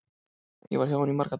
Ég var hjá henni í marga daga.